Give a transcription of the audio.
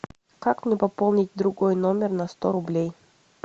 как мне пополнить другой номер на сто рублей